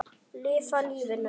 Lifa lífinu!